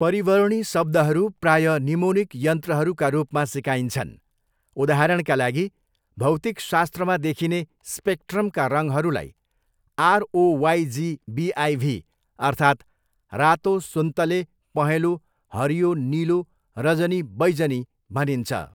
परिवर्णी शब्दहरू प्रायः निमोनिक यन्त्रहरूका रूपमा सिकाइन्छन्, उदाहरणका लागि भौतिकशास्त्रमा देखिने स्पेक्ट्रमका रङहरूलाई 'आरओवाई जी बिआइभी' अर्थात् 'रातो सुन्तले पहेँलो हरियो निलो रजनी बैजनी' भनिन्छ।